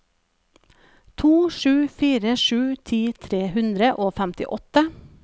to sju fire sju ti tre hundre og femtiåtte